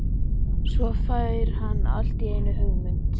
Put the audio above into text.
Svo fær hann allt í einu hugmynd.